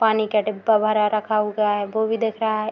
पानी का डिब्बा भरा रखा गया है वो भी दिख रहा है।